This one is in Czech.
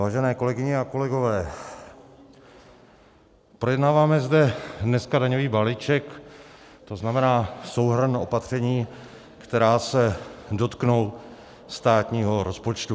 Vážené kolegyně a kolegové, projednáváme zde dneska daňový balíček, to znamená souhrn opatření, která se dotknou státního rozpočtu.